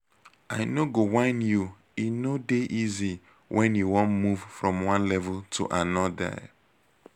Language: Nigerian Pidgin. i no go whine you e no dey easy when you wan move from one level to anodir